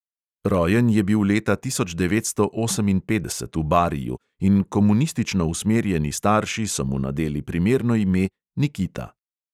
Rojen je bil leta tisoč devetsto oseminpetdeset v bariju in komunistično usmerjeni starši so mu nadeli primerno ime nikita.